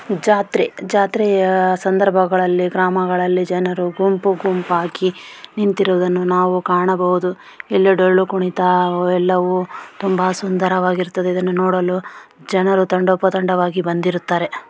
ಜಾತ್ರೆ ಜಾತ್ರೆಯ ಸಂದರ್ಭಗಳಲ್ಲಿ ಜನರು ಗುಂಪು ಗುಂಪಾಗಿ ನಿಂತಿರುವುದನ್ನು ನಾವು ಕಾಣಬಹುದು ಇಲ್ಲಿ ಡೊಳ್ಳು ಕುಣಿತ ಎಲ್ಲವೂ ತುಂಬಾ ಸುಂದರವಾಗಿ ಇರುತ್ತದೆ ಇದನ್ನು ನೋಡಲು ಜನರು ತಂಡೋಪ ತಂಡವಾಗಿ ಬಂದಿರುತ್ತಾರೆ.